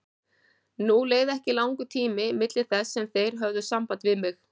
Nú leið ekki langur tími milli þess sem þeir höfðu samband við mig.